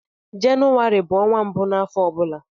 Jenụwarị bu ọnwa mbụ n'afọ ọbụla.